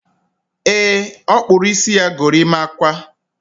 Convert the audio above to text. E, ọ kpụrụ isi ya gorimakwa